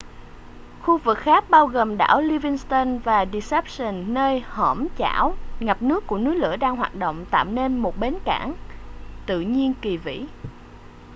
khu vực khác bao gồm đảo livingston và deception nơi hõm chảo ngập nước của núi lửa đang hoạt động tạo nên một bến cảng tự nhiên kỳ vĩ